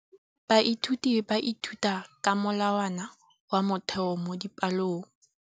Baithuti ba ithuta ka molawana wa motheo mo dipalong.